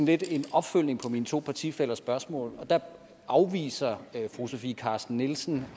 lidt en opfølgning på mine to partifællers spørgsmål og der afviser fru sofie carsten nielsen